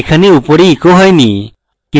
এখানে এখানে উপরে echoed হয়নি